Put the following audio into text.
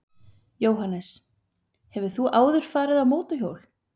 Jóhannes: Hefur þú áður farið á mótorhjól?